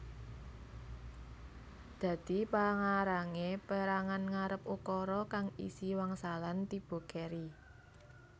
Dadi pangarangé perangan ngarep ukara kang isi wangsalan tiba keri